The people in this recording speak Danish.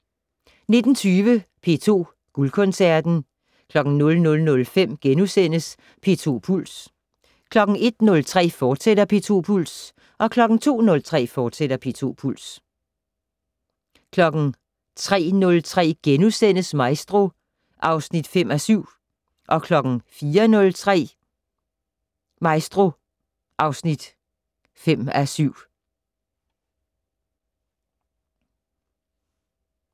19:20: P2 Guldkoncerten 00:05: P2 Puls * 01:03: P2 Puls, fortsat 02:03: P2 Puls, fortsat 03:03: Maestro (5:7)* 04:03: Maestro (5:7)